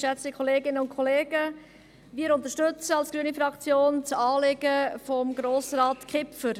Wir unterstützen als grüne Fraktion das Anliegen von Grossrat Kipfer.